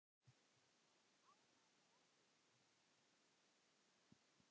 Ertu ánægður með hópinn?